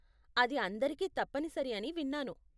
అది అందరికీ తప్పనిసరి అని విన్నాను.